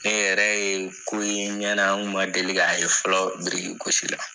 Ne yɛrɛ ye ko ye n ɲɛna ,n kun ma deli k'a ye fɔlɔ gosi la.